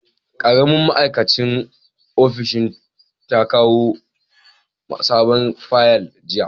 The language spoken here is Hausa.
Karamin ma'aikacin ofishin ta kawo sabon fayal jiya.